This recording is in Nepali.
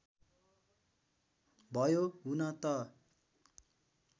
भयो हुन त